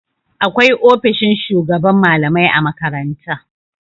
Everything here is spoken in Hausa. Akwai ofishin shugaban malamai a makaranta.